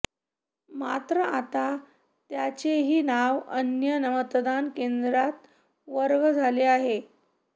मात्र आता त्यांचेही नाव अन्य मतदान केंद्रात वर्ग झाले आहे